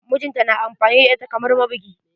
Mijinta na amfani da ita kamar mabugi.